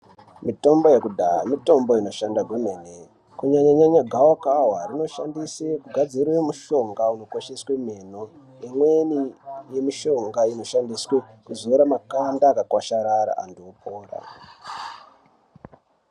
Mitombo yekudhaa mitombo inoshanda kwemene. Kunyanya-nyanya gavakava rinoshandose kugadzire mushonga unokwesheswe meno. Imweni nemishonga inoshandiswe kuzora makanda akakwasharara antu opoda.